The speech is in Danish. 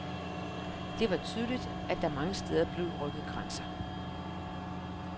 Det var tydeligt, at der mange steder blev rykket grænser.